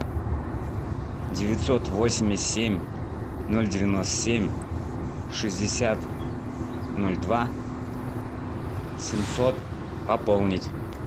девятьсот восемьдесят семь ноль девяносто семь шестьдесят ноль два семьсот пополнить